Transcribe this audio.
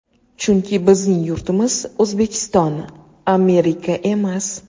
Chunki bizning yurtimiz O‘zbekiston, Amerika emas.